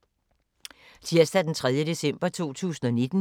Tirsdag d. 3. december 2019